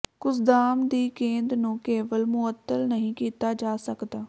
kusudama ਦੀ ਗੇਂਦ ਨੂੰ ਕੇਵਲ ਮੁਅੱਤਲ ਨਹੀਂ ਕੀਤਾ ਜਾ ਸਕਦਾ